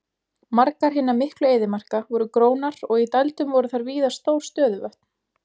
Margar hinna miklu eyðimarka voru grónar og í dældum voru þar víða stór stöðuvötn.